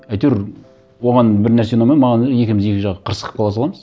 әйтеуір оған бір нәрсе ұнамай маған екеуіміз екі жаққа қырсығып қала саламыз